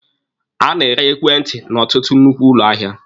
A na-ere ekwentị n'ọtụtụ nnukwu ụlọ ahịa.